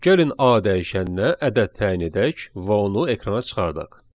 Gəlin A dəyişəninə ədəd təyin edək və onu ekrana çıxardaq.